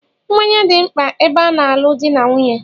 Mmanya dị mkpa ebe a na-alu dị na nwunye